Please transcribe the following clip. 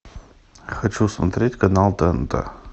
хочу смотреть канал тнт